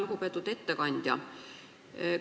Lugupeetud ettekandja!